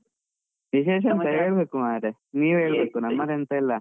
ವಿಶೇಷ ಹೇಳ್ಬೇಕು ಮರ್ರೆ, ನೀವೇ ಹೇಳ್ಬೇಕು ನಮ್ಮದೆಂತ ಇಲ್ಲ.